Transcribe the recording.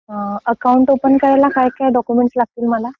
Account open करायला काय काय डॉक्युमेंट्स लागतील मला.